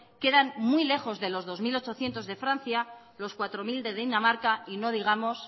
quedan muy lejos de los dos mil ochocientos de francia los cuatro mil de dinamarca y no digamos